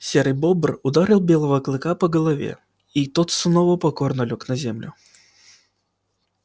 серый бобр ударил белого клыка по голове и тот снова покорно лёг на землю